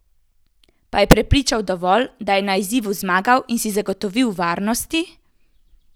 Pa je prepričal dovolj, da je na izzivu zmagal in si zagotovil varnosti?